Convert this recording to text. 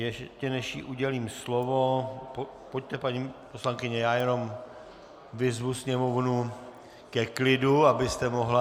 Ještě než jí udělím slovo - pojďte, paní poslankyně - já jenom vyzvu sněmovnu ke klidu, abyste mohla...